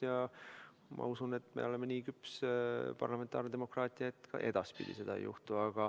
Ja ma usun, et me oleme nii küps parlamentaarne demokraatlik riik, et ka edaspidi seda ei juhtu.